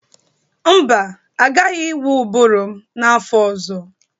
Mba, agaghị ịwa ụbụrụ m n'afọ ọzọ.